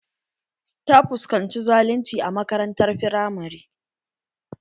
Ta fuskanci zalunci a makaranrar firamari.